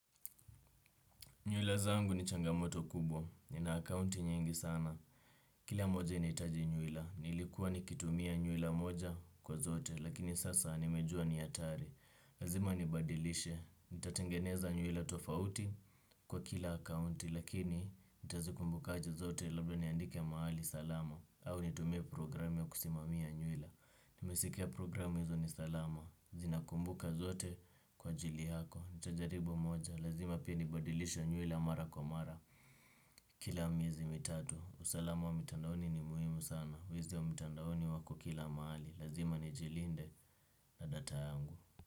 Nyuila zangu ni changamoto kubwa, nina akaunti nyingi sana. Kila moja inahitaji nyuila nilikuwa nikitumia nyuila u niilikuwa nikitumia nyuila moja kwa zote lakini, lakini sasa nimejua ni hatari. Lazima nibadilishe, nitatengeneza nyuila tofauti kwa kila akaunti, lakini nitazikumbukaje zote, labda niandike mahali salama, au nitumie programu ya kusimamia nyuila nimesikia programu hizo ni salama. Zinakumbuka zote kwa ajili yako. Nitajaribu moja. Lazima pia nibadilishe nyuila mara kwa mara. Kila miezi mitatu usalamu wa mitandaoni ni muhimu sana. Wezi wa mitandaoni wako kila mahali. Lazima nijilinde na data yangu.